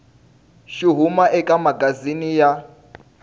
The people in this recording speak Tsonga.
xi huma eka magazini ya